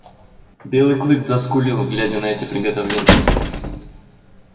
белый клык заскулил глядя на эти приготовления